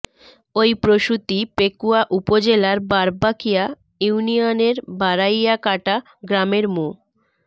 ওই প্রসূতি পেকুয়া উপজেলার বারবাকিয়া ইউনিয়নের বারাইয়াকাটা গ্রামের মো